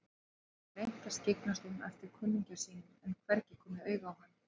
Hann hafði reynt að skyggnast um eftir kunningja sínum en hvergi komið auga á hann.